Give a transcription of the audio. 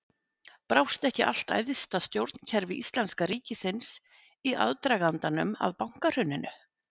Brást ekki allt æðsta stjórnkerfi íslenska ríkisins í aðdragandanum að bankahruninu?